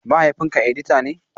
Mahaifinka edita ne?